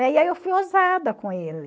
É, e aí eu fui ousada com ele.